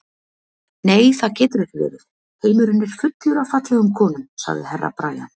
Nei, það getur ekki verið, heimurinn er fullur af fallegum konum, sagði Herra Brian.